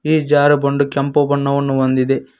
ಈ ಜಾರು ಬಂಡು ಕೆಂಪು ಬಣ್ಣವನ್ನು ಹೊಂದಿದೆ.